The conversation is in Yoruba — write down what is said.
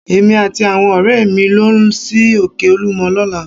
Èmi àti àwọn ọ̀rẹ́ mi ń lọ sí Òkè olúmọ lọ́la